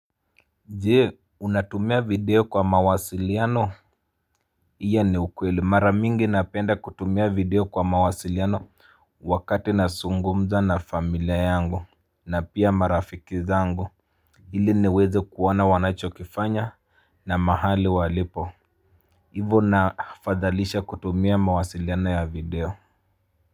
Jee unatumia video kwa mawasiliano. Iya ni ukweli maramingi napenda kutumia video kwa mawasiliano. Wakati nasungumza na familia yangu. Na pia marafiki zangu. Ili niweze kuona wanachokifanya. Na mahali walipo. Ivo nafadhalisha kutumia mawasiliano ya video kwa hivyo.